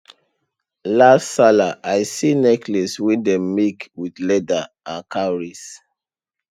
last sallah i see necklace wey dem make with leather and cowries